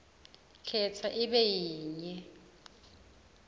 khetsa ibe yinye